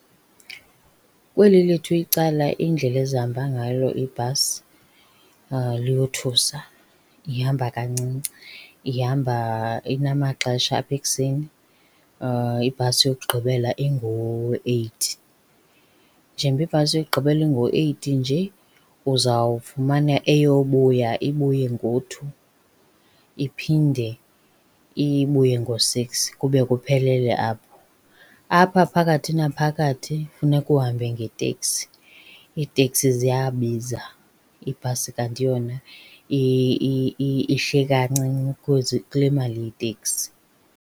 Kweli lethu icala iindlela ezihamba ngalo ibhasi liyothusa, ihamba kancinci. Ihamba inamaxesha apha ekuseni ibhasi yokugqibela ingo-eight. Njengoba ibhasi yokugqibela ingo-eight nje uzawufumana eyobuya ibuye ngo-two, iphinde ibuye ngo-six kube kuphelele apho. Apha phakathi naphakathi funeke uhambe ngeteksi, iiteksi ziyabiza, ibhasi kanti yona ihle kancinci kule mali yeteksi.